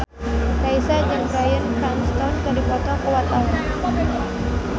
Raisa jeung Bryan Cranston keur dipoto ku wartawan